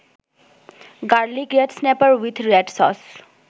garlic red snapper with red sauce